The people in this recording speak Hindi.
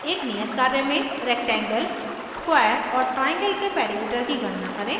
एक नियत कार्य में rectangle square और triangle के perimeter की गणना करें